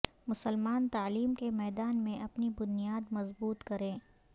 مسلمان تعلیم کے میدان میں اپنی بنیاد مضبوط کریں